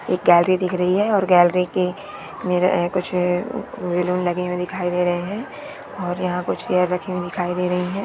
एक गैलरी दिख रही है और गैलरी के मेरा है कुछ उम वेलून लगे हुए दिखाई दे रहे हैं। और यहां कुछ चेयर रखे दिखाई दे रही है।